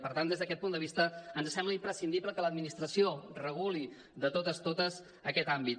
per tant des d’aquest punt de vista ens sembla imprescindible que l’administració reguli de totes totes aquest àmbit